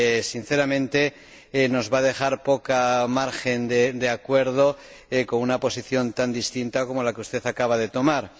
Sinceramente, nos va a dejar poco margen de acuerdo con una posición tan distinta como la que usted acaba de exponer.